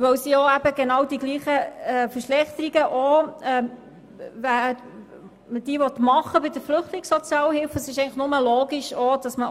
Weil man die genau gleichen Verschlechterungen auch bei der Flüchtlingssozialhilfe machen will, ist es nur logisch, auch diesen